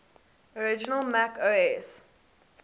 original mac os